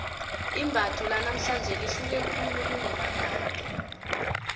imbatho lanamhlanje lihluke khulu kunelakade